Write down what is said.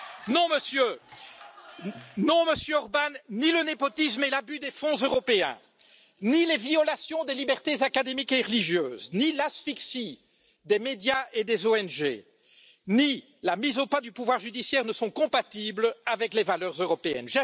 Non, Monsieur Orbán, ni le népotisme et l'abus des fonds européens, ni les violations des libertés académiques et religieuses, ni l'asphyxie des médias et des ONG, ni la mise au pas du pouvoir judiciaire ne sont compatibles avec les valeurs européennes.